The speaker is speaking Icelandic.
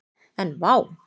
En vá!